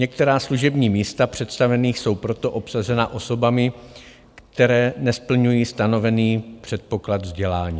Některá služební místa představených jsou proto obsazena osobami, které nesplňují stanovený předpoklad vzdělání.